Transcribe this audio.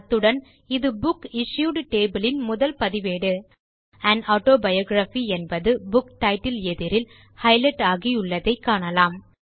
அத்துடன் இது புக்சிஷ்யூட் டேபிள் யின் முதல் பதிவேடு ஆன் ஆட்டோபயோகிராபி என்பது புக் டைட்டில் எதிரில் ஹைலைட் ஆகியுள்ளதை காணலாம்